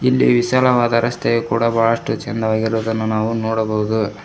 ಇಲ್ಲಿ ವಿಶಾಲವಾದ ರಸ್ತೆಯು ಕೂಡ ಬಹಳಷ್ಟು ಚೆನ್ನಾಗಿ ಇರುವುದನ್ನು ನಾವು ನೋಡಬಹುದು.